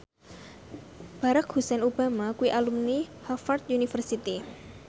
Barack Hussein Obama kuwi alumni Harvard university